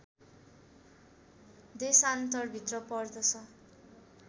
देशान्तरभित्र पर्दछ